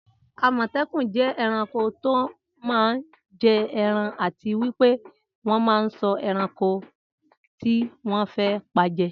Amọtẹkun jẹ ẹranko tó má n jẹ ẹran àti wípé wọ́n man ṣọ́ ẹranko tí wọ́n fe paje